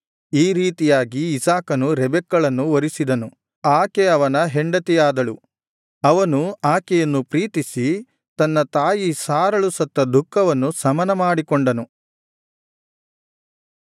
ಈ ರೀತಿಯಾಗಿ ಇಸಾಕನು ರೆಬೆಕ್ಕಳನ್ನು ವರಿಸಿದನು ಆಕೆ ಅವನ ಹೆಂಡತಿಯಾದಳು ಅವನು ಆಕೆಯನ್ನು ಪ್ರೀತಿಸಿ ತನ್ನ ತಾಯಿ ಸಾರಳು ಸತ್ತ ದುಃಖವನ್ನು ಶಮನ ಮಾಡಿಕೊಂಡನು